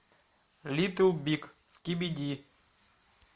литл биг скибиди